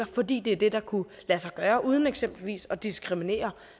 fordi det er det der kunne lade sig gøre uden eksempelvis at diskriminere